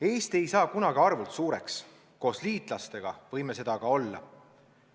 Eesti ei saa kunagi arvult suureks, koos liitlastega võime seda aga olla.